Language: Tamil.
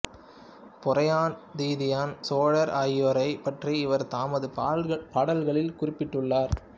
பொறையன் திதியன் சோழர் ஆகியோரைப் பற்றி இவர் தமது பாடல்களில் குறிப்பிட்டுள்ளார்